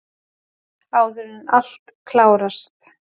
Áður en allt klárast!